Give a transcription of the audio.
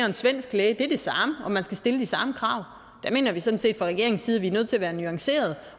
en svensk læge er det samme og man skal stille de samme krav der mener vi sådan set fra regeringens side at vi er nødt til at være nuancerede og